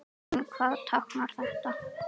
En hvað táknar þetta?